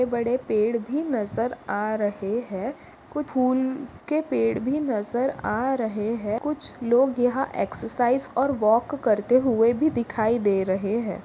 बड़े बडे पेड़ भी नज़र आ रहे है। कू फूल के पेड़ भी नजर आ रहे है। कुछ लोग यहा एक्सरसाइज़ और वॉक करते हुवे भी दिखाई दे रहे है।